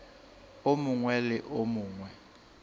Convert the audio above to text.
o mongwe le o mongwe